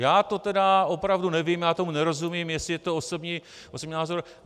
Já to teda opravdu nevím, já tomu nerozumím, jestli je to osobní názor.